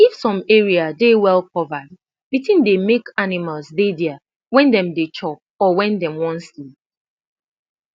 if some area dey well covered de tin dey make animals dey there when them dey chop or when dem one sleep